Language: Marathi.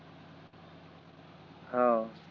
हो